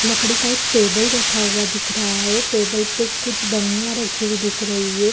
लकड़ी का एक टेबल रखा हुआ दिख रहा है टेबल पे कुछ बर्निया रखी हुई दिख रही है।